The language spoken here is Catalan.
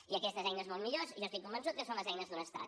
i aquestes eines molt millors jo estic convençut que són les eines d’un estat